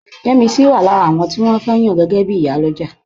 Yẹ́misí wà lára àwọn tí wọ́n fẹ́ yàn gẹ́gẹ́ bí Ìyálọ́jà